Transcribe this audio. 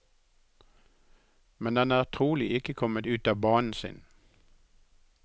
Men den er trolig ikke kommet ut av banen sin.